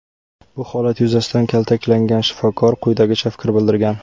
Bu holat yuzasidan kaltaklangan shifokor quyidagicha fikr bildirgan.